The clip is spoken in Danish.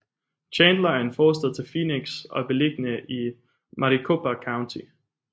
Chandler er en forstad til Phoenix og er beliggende i Maricopa County